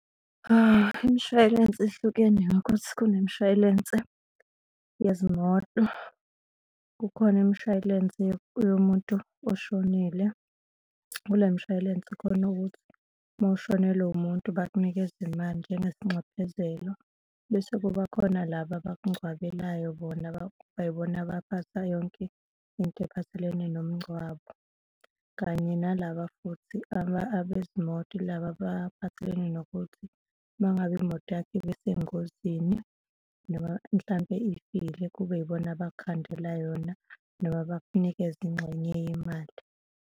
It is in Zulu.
Imishway'lense ihlukene ngokuthi kune mishway'lense yezimoto, kukhona imishway'lense yomuntu oshonile, kule mshway'lense khona ukuthi uma ushonelwe umuntu, bakunikeze imali njengesinxephezelo, bese kuba khona laba abakungcwabele bona kubayibona abaphatha yonke into ephathelene nomngcwabo. Kanye nalaba futhi abanezimoto, yilaba abaphathelene nokuthi uma ngabe imoto yakho ibesengozini noma mhlampe ifile, kube yibona abakukhandela yona noma bakunikeze ingxenye yemali.